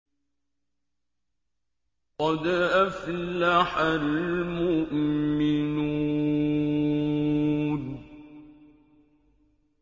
قَدْ أَفْلَحَ الْمُؤْمِنُونَ